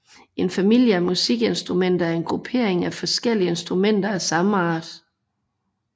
En familie af musikinstrumenter er en gruppering af forskellige instrumenter af samme art